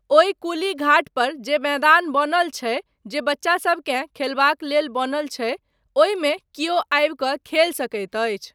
ओहि कुली घाट पर जे मैदान बनल छै जे बच्चासबकेँ खेलबाक लेल बनल छै, ओहिमे कियो आबि कऽ खेलि सकैत अछि।